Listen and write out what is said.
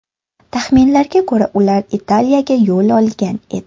Taxminlarga ko‘ra, ular Italiyaga yo‘l olgan edi.